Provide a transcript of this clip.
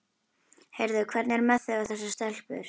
Heyrðu, hvernig er með þig og þessa stelpu?